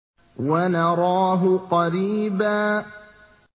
وَنَرَاهُ قَرِيبًا